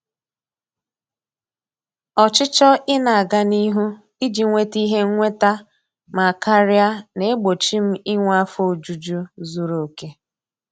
Ọchịchọ ị na-aga n'ihu iji nweta ihe nnweta ma karia na-egbochi m inwe afọ ojuju zuru oke.